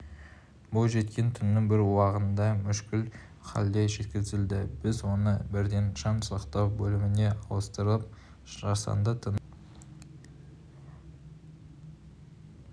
бойжеткен түннің бір уағында мүшкіл халде жеткізілді біз оны бірден жан сақтау бөліміне ауыстырып жасанды тыныс